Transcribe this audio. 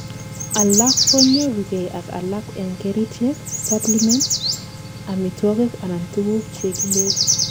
alak konyorugei ak alak en kerichek, supplements, amitwogik anan tuguk chekiyee